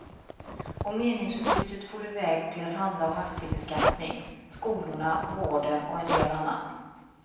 Och meningsutbytet for iväg till att handla om aktiebeskattning, skolorna, vården och en del annat.